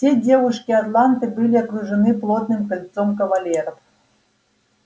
все девушки атланты были окружены плотным кольцом кавалеров